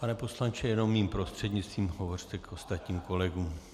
Pane poslanče, jenom mým prostřednictvím hovořte k ostatním kolegům.